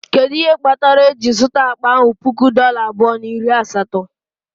Kedu ihe kpatara eji zụta akpa ahụ puku dollar abụọ na iri asatọ?